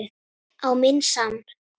Á minn sann!